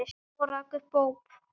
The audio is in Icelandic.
Og rak upp óp.